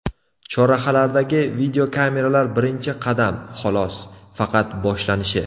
Chorrahalardagi videokameralar birinchi qadam, xolos, faqat boshlanishi.